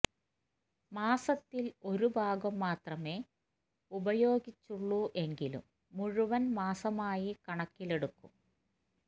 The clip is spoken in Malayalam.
മാസത്തിൽ ഒരു ഭാഗം മാത്രമേ ഉപയോഗിച്ചുള്ളൂ എങ്കിലും മുഴുവൻ മാസമായി കണക്കിലെടുക്കും